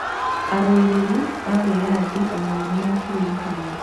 Arũĩrĩri a wĩyathi onao nĩmekũririkanwo